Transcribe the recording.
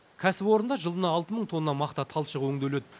кәсіпорында жылына алты мың тонна мақта талшығы өңделеді